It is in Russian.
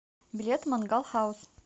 билет мангал хаус